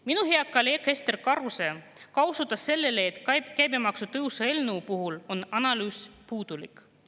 Minu hea kolleeg Ester Karuse osutas sellele, et ka käibemaksu tõusu eelnõu puhul on analüüs puudulik.